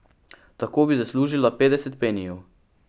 Tako bi zaslužila petdeset penijev!